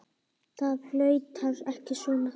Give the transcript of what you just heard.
Það flautar ekki svona.